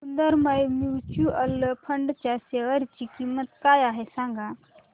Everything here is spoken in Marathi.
सुंदरम म्यूचुअल फंड च्या शेअर ची किंमत काय आहे सांगा